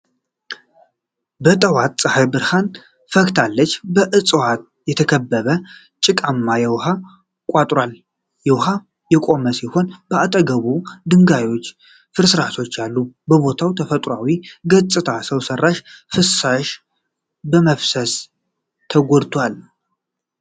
በጠዋት ፀሐይ ብርሃን ፈክታለች። በዕፅዋት የተከበበ ጭቃማ የውኃ ቋጥሯል። ውሃው የቆመ ሲሆን በአጠገቡ ድንጋዮችና ፍርስራሾች አሉ። የቦታው ተፈጥሯዊ ገጽታ ሰው ሰራሽ ፍሳሽ በመፍሰሱ ተጎድቷል።